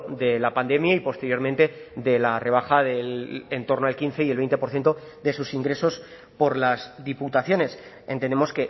de la pandemia y posteriormente de la rebaja del entorno al quince y el veinte por ciento de sus ingresos por las diputaciones entendemos